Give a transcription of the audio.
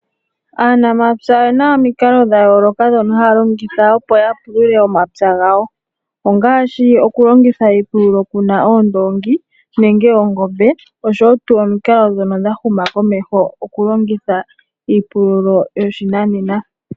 Aanamapya oye na omikalo dha yooloka ndhono haya longitha opo ya pulule omapya gawo ngaashi okulongitha iipululo kuna oondongi nenge oongombe oshowo omikalo ndhono dha huma komeho okulongitha iipululo yoshinanena.